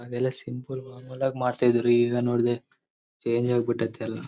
ಅದೇಲ್ಲಾ simple ಮಾಡ್ತಾ ಇದ್ರೂ ಈಗ ನೋಡಿದ್ರೆ ಚೇಂಜ್ ಆಗಿ ಬಿಟ್ಟೈತೆ ಎಲ್ಲಾ.